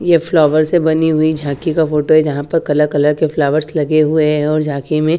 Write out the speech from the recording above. ये फ्लावर से बनी हुई झांकी का फोटो है यहां पर कलर कलर के फ्लावर्स लगे हुए हैं और झांकी में--